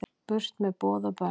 Burt með boð og bönn